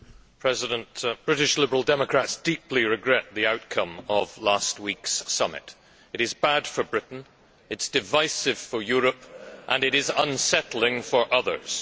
Mr President, British Liberal Democrats deeply regret the outcome of last week's summit. It is bad for Britain, it is divisive for Europe and it is unsettling for others.